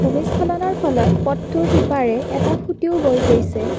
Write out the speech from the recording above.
ভূমিস্থলনৰ ফলত পথটোৰ সিপাৰে এটা খুঁটিও বৈ গৈছে।